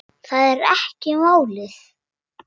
Það er ekki málið.